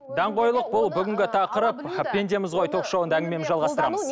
даңғойлық бұл бүгінгі тақырып пендеміз ғой ток шоуында әңгімемізді жалғастырамыз